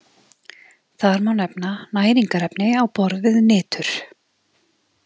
Þar má nefna næringarefni á borð við nitur.